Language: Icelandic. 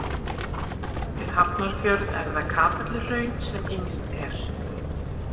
Við Hafnarfjörð er það Kapelluhraun sem yngst er.